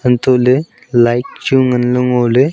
antoh ley light chu ngan ley ngo ley.